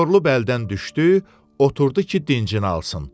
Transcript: Yorulub əldən düşdü, oturdu ki, dincini alsın.